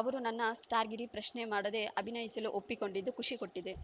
ಅವರು ನನ್ನ ಸ್ಟಾರ್‌ಗಿರಿ ಪ್ರಶ್ನೆ ಮಾಡದೇ ಅಭಿನಯಿಸಲು ಒಪ್ಪಿಕೊಂಡಿದ್ದು ಖುಷಿ ಕೊಟ್ಟಿತು